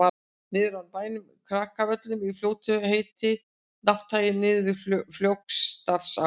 niður af bænum krakavöllum í fljótum heitir nátthagi niður við flókadalsá